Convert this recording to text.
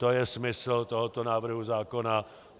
To je smysl tohoto návrhu zákona.